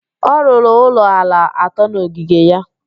Ọ rụrụ ụlọ ala atọ n'ogige ya.